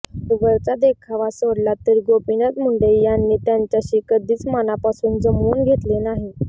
वरवरचा देखावा सोडला तर गोपीनाथ मुंडे यांनी त्यांच्याशी कधीच मनापासून जमवून घेतले नाही